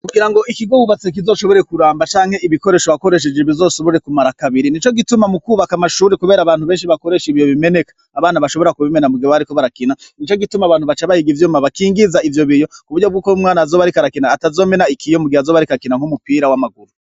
Kugira ngo ikigubatse kizoshobore kuramba canke ibikoresho hakoresheje bizosubure kumara kabiri ni co gituma mu kwubaka amashuri, kubera abantu benshi bakoresha ivyo bimeneka abana bashobora kubimena muga bariko barakina ni co gituma abantu baca bahiga ivyuma bakingiza ivyo biyo ku buryo bw'uko umwana azoba arika arakina atazomena ikiyo mbugiha azoba arikakina nk'umupira w'amaguru.